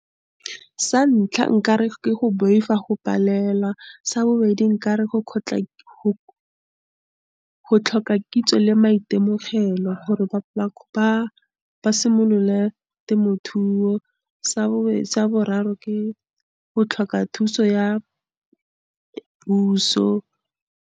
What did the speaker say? Sa ntlha, nkare ke go boifa go palelwa. Sa bobedi, nkare go go tlhoka kitso le maitemogelo gore ba simolole temothuo. sa boraro, ke go tlhoka thuso ya puso.